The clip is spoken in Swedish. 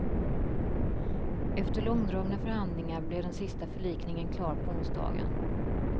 Efter långdragna förhandlingar blev den sista förlikningen klar på onsdagen.